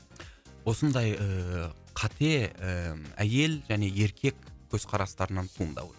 осындай ыыы қате ыыы әйел және еркек көзқарастарынан туындауы